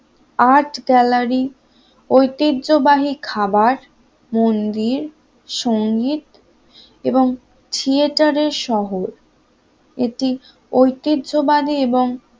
আট গ্যালারি ঐতিহ্যবাহী খাবার, মন্দির সংগীত এবং থিয়েটারের শহর এটি ঐতিহ্যবাদী এবং